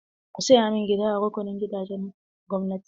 Ka saya min gida a rukunin gidajen gwamnati!